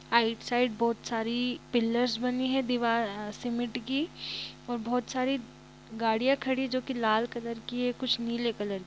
side बहुत सारी pillars बनी है दीवार अ सीमेंट की और बहोत सारी गाड़ियां खड़ी है जो कि लाल कलर की है कुछ नीले कलर --